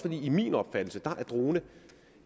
min opfattelse